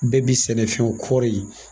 Bɛɛ bi sɛnɛfɛn kɔɔri ye.